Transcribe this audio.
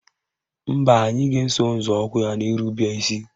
Mba, anyị ga-eso nzọụkwụ ya n'irube isi